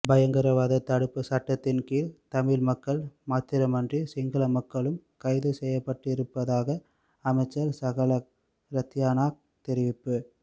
பயங்கரவாத தடுப்பு சட்டத்தின் கீழ் தமிழ் மக்கள் மாத்திரமன்றி சிங்கள மக்களும் கைது செய்யப்பட்டிருப்பதாக அமைச்சர் சாகல ரத்யனாக்க தெரிவிப்பு